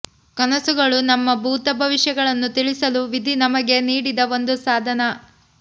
ಕನಸುಗಳು ನಮ್ಮ ಭೂತ ಭವಿಷ್ಯಗಳನ್ನು ತಿಳಿಸಲು ವಿಧಿ ನಮಗೆ ನೀಡಿದ ಒಂದು ಸಾಧನ